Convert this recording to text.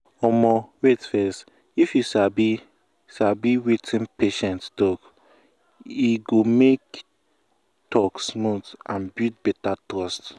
wait um fess if you sabi sabi wetin patient believe e um go make talk smooth and build better trust.